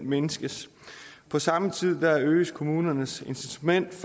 mindskes på samme tid øges kommunernes incitament til